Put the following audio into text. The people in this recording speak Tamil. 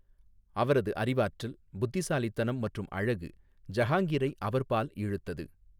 அவரது அறிவாற்றல், புத்திசாலித்தனம் மற்றும் அழகு, ஜஹாங்கிரை அவர்பால் இழுத்தது.